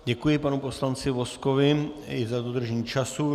Děkuji panu poslanci Vozkovi i za dodržení času.